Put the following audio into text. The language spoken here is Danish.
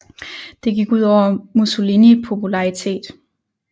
Det gik ud over Mussolini popularitet